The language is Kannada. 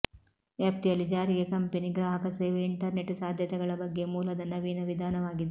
ವ್ಯಾಪ್ತಿಯಲ್ಲಿ ಜಾರಿಗೆ ಕಂಪನಿ ಗ್ರಾಹಕ ಸೇವೆ ಇಂಟರ್ನೆಟ್ ಸಾಧ್ಯತೆಗಳ ಬಗ್ಗೆ ಮೂಲದ ನವೀನ ವಿಧಾನವಾಗಿದೆ